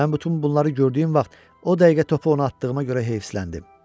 Mən bütün bunları gördüyüm vaxt o dəqiqə topu ona atdığıma görə heyfsiləndim.